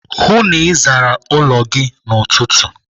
Hụụ na Ị zara ụlọ gị n'ụtụtụ!